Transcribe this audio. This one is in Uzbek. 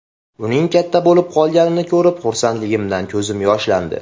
Uning katta bo‘lib qolganini ko‘rib, xursandligimdan ko‘zim yoshlandi.